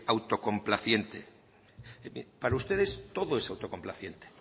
autocomplaciente bien para ustedes todo es autocomplaciente